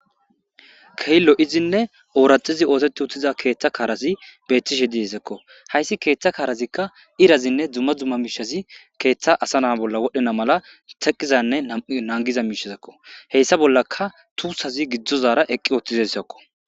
Keillo izinne ooraxizi ootetti uttiza keeththa kaarazi beettishe diesekko hayssi keeththa kaarazikka irazinne dumma dumma miishazi keeththa asa naa bolla wodhena mala teqizanne nangiza miishazekko heyssa bollaka tuusazi giddzozara eqqi othizesakko.